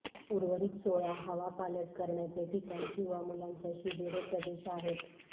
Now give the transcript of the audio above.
उर्वरित सोळा हवापालट करण्याचे ठिकाण किंवा मुलांच्या शिबिरे प्रदेश आहेत